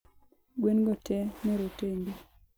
gwengo tee ne rotenge